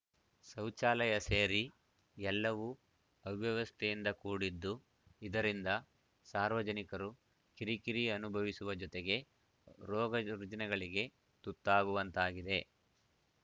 ಶೌಚಾಲಯ ಸೇರಿ ಎಲ್ಲವೂ ಅವ್ಯವಸ್ಥೆಯಿಂದ ಕೂಡಿದ್ದು ಇದರಿಂದ ಸಾರ್ವಜನಿಕರು ಕಿರಿಕಿರಿ ಅನುಭವಿಸುವ ಜೊತೆಗೆ ರೋಗರುಜೀನಗಳಿಗೆ ತುತ್ತಾಗುವಂತಾಗಿದೆ